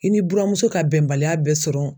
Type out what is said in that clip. I ni buramuso ka bɛnbaliya bɛ sɔrɔ